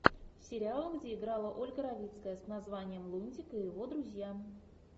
сериал где играла ольга равицкая с названием лунтик и его друзья